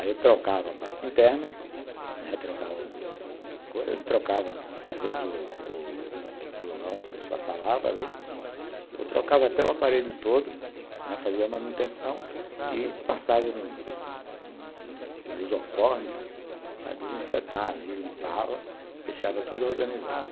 Aí eu trocava a parte interna, né, trocava às vezes o o lugar onde a pessoa falava ali, ou trocava até o aparelho todo, fazia manutenção e passava um lisoforme para desinfetar ali, limpava, deixava